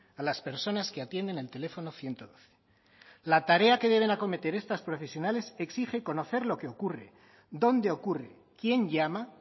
a las personas que atienden el teléfono ciento doce la tarea que deben acometer estas profesionales exige conocer lo que ocurre dónde ocurre quién llama